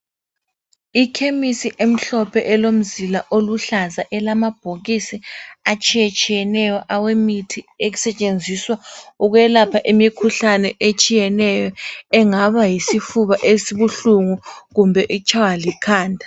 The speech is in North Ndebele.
Ikhemisi emhlophe elomzila oluhlaza elamabhokisi atshiyetshiyeneyo awemithi esetshenziswa ukwelapha imikhuhlane etshiyeneyo engaba yisifuba esibuhlungu kumbe etshaywa likhanda.